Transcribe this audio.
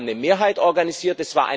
Wir haben eine Mehrheit organisiert.